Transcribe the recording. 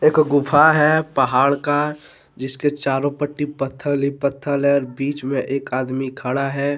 एक गुफा है पहाड़ का जिसके चारों पट्टी पत्थर ही पत्थर है और बीच में एक आदमी खड़ा है।